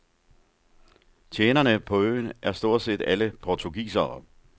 Tjenerne på øen er stort set alle portugisere.